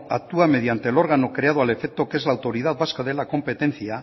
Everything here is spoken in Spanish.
actúa mediante el órgano creado al efecto que es la autoridad vasca de la competencia